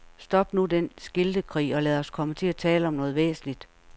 Stop nu den skiltekrig og lad os komme til at tale om noget væsentligt.